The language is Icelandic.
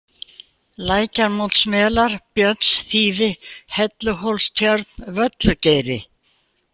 Lækjarmótsmelar, Björnsþýfi, Helluhólstjörn, Völlugeiri